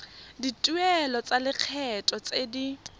dituelo tsa lekgetho tse di